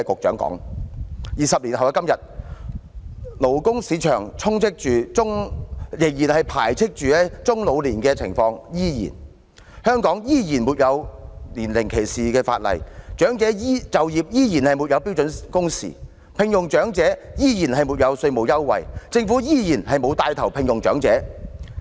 在20年後的今天，勞工市場排斥中老年的情況依然，香港依然沒有年齡歧視的法例，長者就業依然沒有標準工時，聘用長者依然沒有稅務優惠，政府依然沒有牽頭聘用長者。